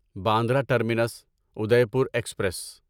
Bandra terminus Udaipur express